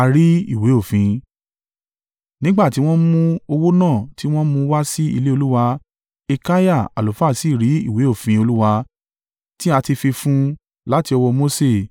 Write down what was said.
Nígbà tí wọ́n mú owó náà tí wọ́n mú wá sí ilé Olúwa, Hilkiah àlùfáà sì rí ìwé òfin Olúwa tí a ti fi fún un láti ọwọ́ Mose.